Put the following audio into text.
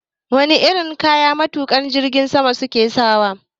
Wane irin kaya matukan jirgin sama suke sawa?